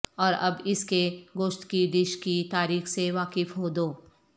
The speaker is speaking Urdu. اور اب اس کے گوشت کی ڈش کی تاریخ سے واقف ہو دو